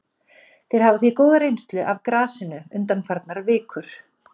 Þeir hafa því góða reynslu af grasinu undanfarnar vikur.